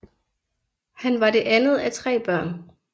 Han var det andet af tre børn